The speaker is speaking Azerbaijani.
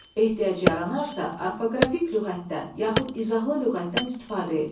Ehtiyac yaranarsa, orfoqrafik lüğətdən, yaxud izahlı lüğətdən istifadə et.